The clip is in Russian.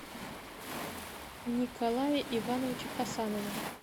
николае ивановиче хасанове